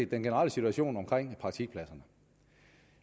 generelle situation omkring praktikpladserne